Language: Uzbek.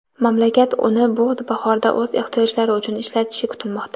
mamlakat uni bu bahorda o‘z ehtiyojlari uchun ishlatishi kutilmoqda.